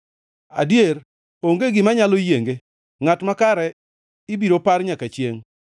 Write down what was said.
Adier, onge gima nyalo yienge, ngʼat makare ibiro par nyaka chiengʼ.